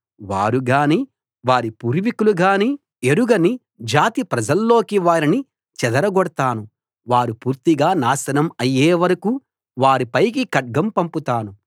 వారు గానీ వారి పూర్వికులు గానీ ఎరగని జాతి ప్రజల్లోకి వారిని చెదరగొడతాను వారు పూర్తిగా నాశనం అయ్యేవరకూ వారి పైకి ఖడ్గం పంపుతాను